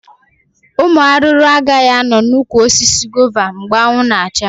Ụmụ arụrụ agaghị anọ na ụkwụ osisi gova mgbe anwụ na acha